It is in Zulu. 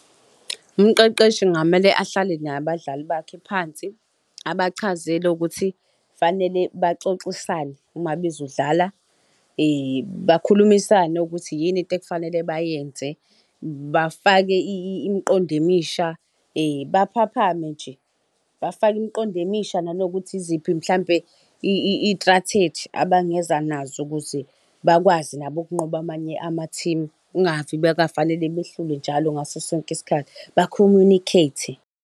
Umqeqeshi kungamele ahlale nabadlali bakhe phansi, abachazele ukuthi kufanele baxoxisane uma bezodlala, bakhulumisane ukuthi yini into ekufanele bayenze bafake imiqondo emisha baphaphame nje. Bafake imiqondo emisha nanokuthi yiziphi mhlawumbe iy'tratheji abangeza nazo ukuze bakwazi nabo ukunqoba amanye amathimu kungave bekwafanele behlulwe njalo ngaso sonke isikhathi, ba-communicate-e.